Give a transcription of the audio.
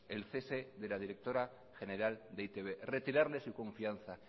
el cese de la directora general de e i te be retirarle su confianza